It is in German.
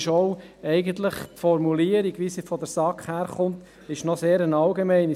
Deshalb ist die Formulierung, wie sie von der SAK daherkommt, eigentlich eine sehr allgemeine.